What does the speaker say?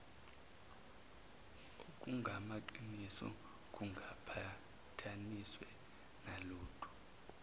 okungamaqiniso kungaqhathaniswe nalutho